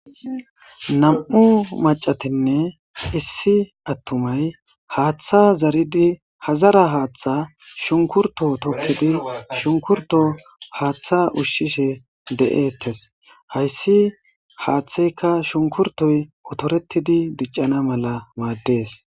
Namm'u maccatinne issi atumay hatha zariddi ha zara hatha shunkuruto tokiddi shunkurtto hatha ushishe de'ttes hassi hathaykka shunkkurttoy otteretiddi diccana mela maddees.